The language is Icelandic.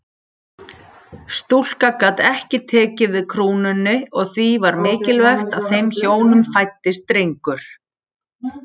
Stúlka gat ekki tekið við krúnunni og því var mikilvægt að þeim hjónum fæddist drengur.